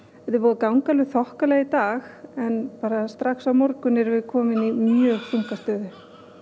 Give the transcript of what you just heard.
búið að ganga alveg þokkalega í dag en strax á morgun erum við komin í mjög þunga stöðu